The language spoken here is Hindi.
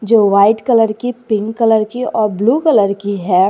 जो वाइट कलर की पिंक कलर की और ब्लू कलर की है।